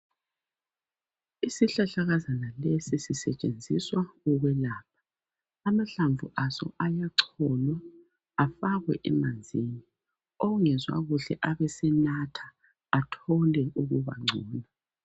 Isihlahlakazana lesi sisetshenziswa ukwelapha .Amahlamvu aso ayacholwa afakwe emanzini, ongezwa kuhle abesenatha athole ukubangcono.